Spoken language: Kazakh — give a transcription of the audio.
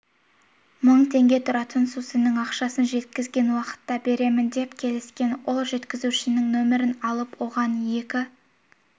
мың теңге тұратын сусынның ақшасын жеткізген уақытта беремін деп келіскен ол жеткізушінің нөмірін алып оған екі